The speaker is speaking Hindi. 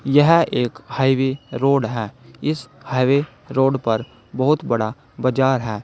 यह एक हाईवे रोड है इस हाईवे रोड पर बहुत बड़ा बाजार है।